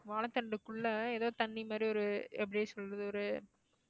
வாழைத்தண்டுக்குள்ள ஏதோ தண்ணி மாதிரி ஒரு எப்படி சொல்றது ஒரு